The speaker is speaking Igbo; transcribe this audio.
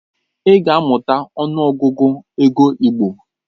Ị ga-amụta ọnụ Ọgụgụ ego igbo!